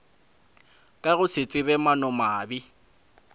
ka go se tsebe maanomabe